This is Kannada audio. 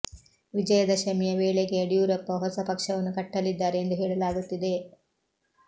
ವಿಜಯ ದಶಮಿಯ ವೇಳೆಗೆ ಯಡಿಯೂರಪ್ಪ ಹೊಸ ಪಕ್ಷವನ್ನು ಕಟ್ಟಲಿದ್ದಾರೆ ಎಂದು ಹೇಳಲಾಗುತ್ತಿದೆ